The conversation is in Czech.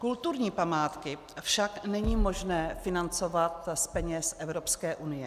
Kulturní památky však není možné financovat z peněz Evropské unie.